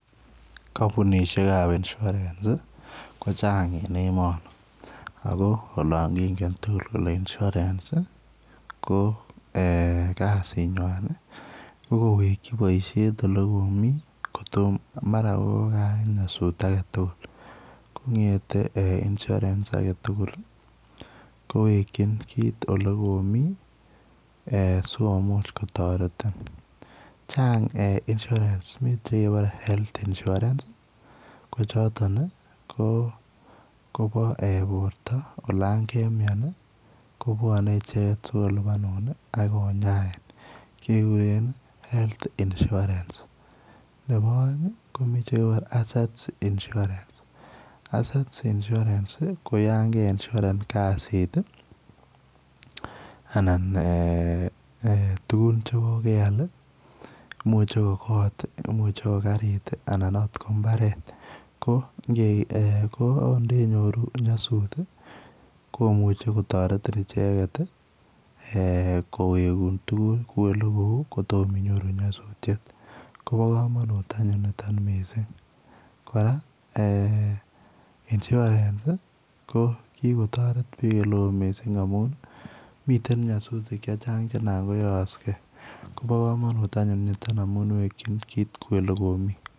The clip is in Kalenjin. Kampunisheek ab insurance ii ko chaang en emanii ako olaan kongeen chii tuguul ii kole insurance ii ko kasiit nywaany ii ko kowegyii boisiet ole komii kotomah mara ko kayaak nyasuut age tugul ko ngethei [insurance] age tugul kowegyiin kiit ole komii eeh sikomuuch kotaretiin chaang[insurance] Mii chekebare [health insurance] Kobo borto olaan kemiano ii kobwane ichegeet sikolupanuun ak konyaiin kegureen [health insurance] nebo aeng ii ko nekigureen [assets insurance] ii ko yaan ke insurareen kaziit ii anan eeh tuguun che ko keyaal imuche ko koot ii imuuchei ko kariit III anan akoot ko mbaret ko eeh nde nyoruu nyasuut ii komuchei kotaretiin ichegeet ii eeh koweguun tuguuk kouu ole ko uu kotomaah inyoruu nyasutiet koba kamanut anyuun nitoon missing kora eeh insurance ii ko kikotaret biik ole wooh missing amuun miten nyasutiik che chaang che naan ko yaaksei koba kamanuut anyuun ni amuun wekyiin kiit kouu ole komii.